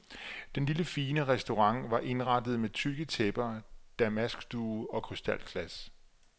Den lille fine restaurant var indrettet med tykke tæpper, damaskduge og krystalglas.